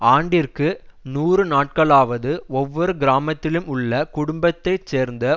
ஆண்டிற்கு நூறுநாட்களாவது ஒவ்வொரு கிராமத்திலும் உள்ள குடும்பத்தை சேர்ந்த